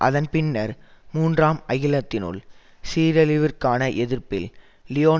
அதன் பின்னர் மூன்றாம் அகிலத்தினுள் சீரழிவிற்கான எதிர்ப்பில் லியோன்